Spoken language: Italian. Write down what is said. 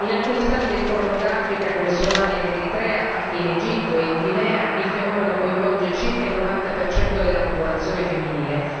In alcuni stati del Corno d'Africa, come Somalia ed Eritrea, ma anche in Egitto e in Guinea, il fenomeno coinvolge circa il 90 della popolazione femminile.